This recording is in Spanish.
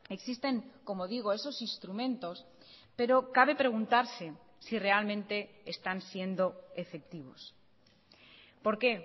existen como digo esos instrumentos pero cabe preguntarse si realmente están siendo efectivos por qué